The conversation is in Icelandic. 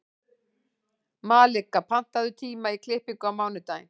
Malika, pantaðu tíma í klippingu á mánudaginn.